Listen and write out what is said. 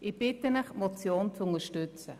Ich bitte Sie, die Motion zu unterstützen.